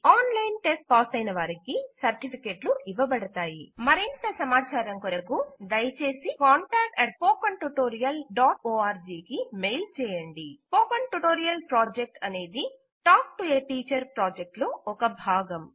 online test పాసైన వారికి సర్టిఫికేట్లు ఇవ్వబడతాయి మరింత సమాచారం కొరకు దయచేసి contactspoken tutorialorg కు మెయిల్ చేయండి స్పోకెన్ ట్యుటోరియల్ ప్రాజెక్ట్ అనేది టాక్టూ టీచర్ ప్రాజెక్ట్ లో భాగం